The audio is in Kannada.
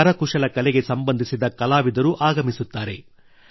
ಕರಕುಶಲ ಕಲೆಗೆ ಸಂಬಂಧಿಸಿದ ಕಲಾವಿದರು ಆಗಮಿಸುತ್ತಾರೆ